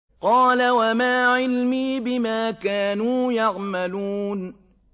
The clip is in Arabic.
قَالَ وَمَا عِلْمِي بِمَا كَانُوا يَعْمَلُونَ